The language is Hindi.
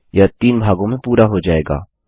यह तीन भागों में पूरा हो जायेगा